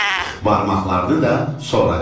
Barmaqlarını da soracaqdılar.